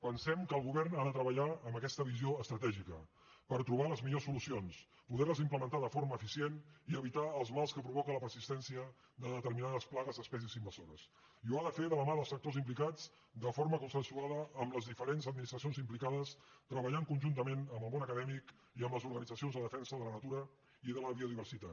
pensem que el govern ha de treballar amb aques·ta visió estratègica per trobar·hi les millors soluci·ons poder·les implementar de forma eficient i evitar els mals que provoca la persistència de determinades plagues d’espècies invasores i ho ha de fer de la mà dels sectors implicats de forma consensuada amb les diferents administracions implicades treballant con·juntament amb el món acadèmic i amb les organitza·cions de defensa de la natura i de la biodiversitat